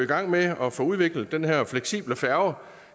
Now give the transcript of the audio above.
gang med at få udviklet den her fleksible færge